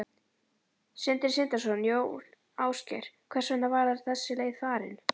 Sindri Sindrason: Jón Ásgeir, hvers vegna var þessi leið farin?